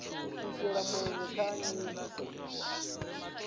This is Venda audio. u shela mulenzhe kha nyito